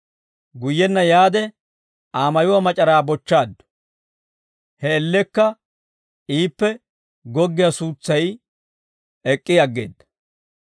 Guyyenna yaade Aa mayuwaa mac'araa bochchaaddu; he man''iyaan iippe goggiyaa suutsay ek'k'i aggeedda.